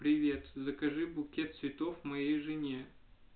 привет закажи букет цветов моей жене